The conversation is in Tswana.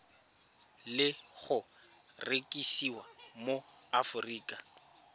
le go rekisiwa mo aforika